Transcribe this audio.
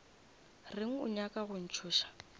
reng o nyaka go ntšhoša